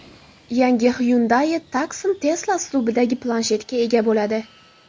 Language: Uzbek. Yangi Hyundai Tucson Tesla uslubidagi planshetga ega bo‘ladi.